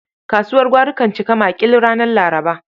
Kasuwar gwari kan cika maƙil ranar Laraba.